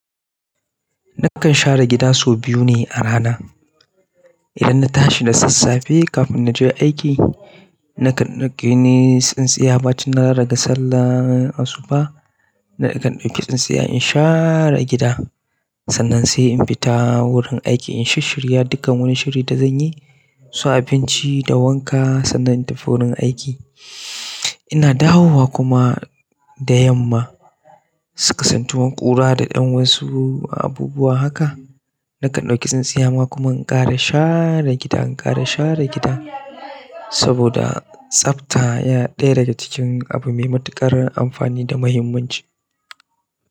Nakan share gida sau biyu ne a rana. Idan na tashi da sassafe kafin na je aiki, nakan ɗauki tsintsiyar bacin na riga sallah asuba, nakan ɗauki tsintsiya in share gida. Sannan sai in fita wurin aiki in shi shirya dukkan wani shiri da zanyi. Su abinci da wanka sannan in tafi wurin aiki ina dawowa kuma da yamma, suka santu wanƙura da ɗan wasu abubuwa haka. Nakan ɗauki tsintsiya ma kuma in ƙara share gida, in ƙara share gida saboda tsafta yana ɗaya daga cikin abu mai matuƙar amfani da muhimmanci.